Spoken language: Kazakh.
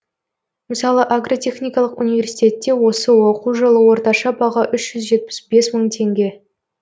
мысалы агротехникалық университетте осы оқу жылы орташа баға үш жүз жетпіс бес мың теңге